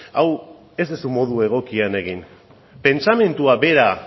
hau ez duzu modu egokien egin pentsamendua bera